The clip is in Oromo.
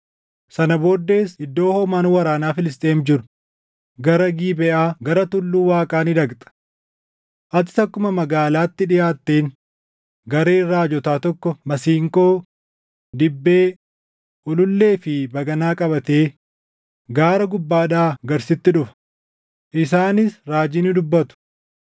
“Sana booddees iddoo hoomaan waraana Filisxeem jiru gara Gibeʼaa gara tulluu Waaqaa ni dhaqxa. Atis akkuma magaalaatti dhiʼaatteen gareen raajotaa tokko masiinqoo, dibbee, ulullee fi baganaa qabatee gaara gubbaadhaa gad sitti dhufa; isaanis raajii ni dubbatu.